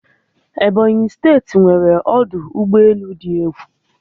Ebonyi steeti nweere ọdụ ụgbọelu di egwu